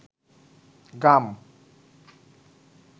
গাম